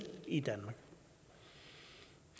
i danmark